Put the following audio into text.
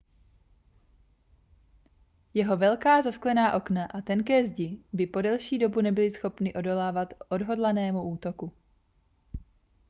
jeho velká zasklená okna a tenké zdi by po delší dobu nebyly schopny odolávat odhodlanému útoku